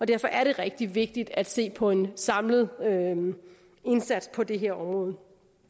derfor er det rigtig vigtigt at se på en samlet indsats på det her område